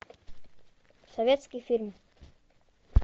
советский фильм